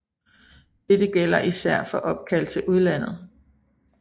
Dette gælder især for opkald til udlandet